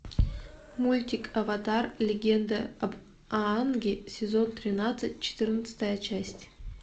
мультик аватар легенда об аанге сезон тринадцать четырнадцатая часть